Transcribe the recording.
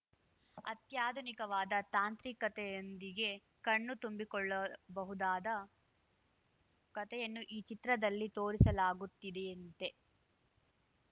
ಅತ್ಯಾಧುನಿಕವಾದ ತಾಂತ್ರಿಕತೆಯೊಂದಿಗೆ ಕಣ್ಣು ತುಂಬಿಕೊಳ್ಳಬಹುದಾದ ಕತೆಯನ್ನು ಈ ಚಿತ್ರದಲ್ಲಿ ತೋರಿಸಲಾಗುತ್ತಿದೆಯಂತೆ